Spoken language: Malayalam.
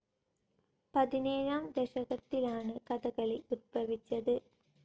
പതിനേഴാം ദശകത്തിലാണ്‌ കഥകളി ഉത്ഭവിച്ചത്‌.